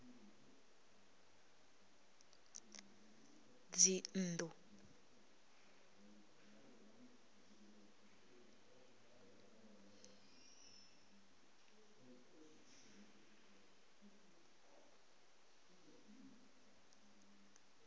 dzinnḓu